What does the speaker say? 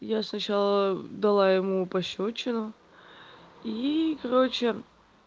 я сначала дала ему пощёчину и короче